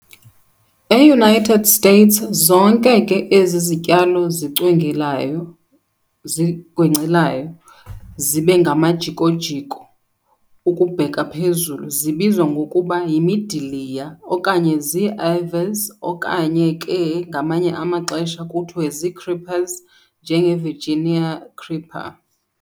E-United States, zonke ke ezi zityalo zigwencelayo zibengamajiko-jiko ukubheka phezulu zibizwa ngokuba yimidiliya okanye zii-ivies okanye ke ngamanye amaxesha kuthiwe zii-creepers, njenge-Virigina Creeper.